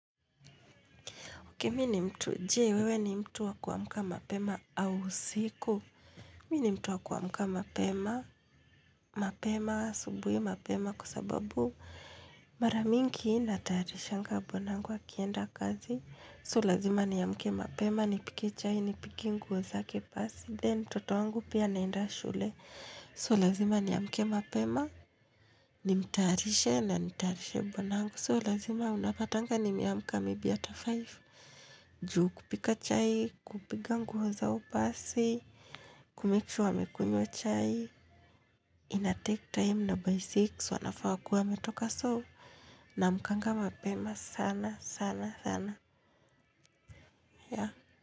Uke mini mtu, je wewe ni mtu wa kuamka mapema au usiku. Mimi ni mtu wa kuamka mapema, mapema asubuhi mpema kwa sababu mara mingi natayarishanga bwanangu akienda kazi. So lazima ni amke mapema nipike chai nipige nguo zake pasi then mtoto wangu pia anaenda shule. So lazima ni amke mapema, ni mtayarishe na nitayarishe bwanangu. So lazima unapatanga nime amka hata five juu. Juu kupika chai, kupiga nguo zao pasi kumake sure amekunywa chai inatek time na by six wanafaa wakue wametoka so namkanga mapema sana sana sana ya.